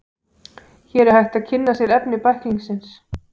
Hér er hægt að kynna sér efni bæklingsins.